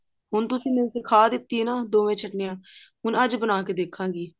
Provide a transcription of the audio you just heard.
ਹੁਣ ਤੁਸੀਂ ਮੈਨੂੰ ਸਿਖਾ ਦਿੱਤੀ ਹੈ ਨਾ ਦੋਵੇਂ ਚਟਨੀਆਂ ਹੁਣ ਅੱਜ ਬਣਾ ਕੇ ਦੇਖਾਂਗੀ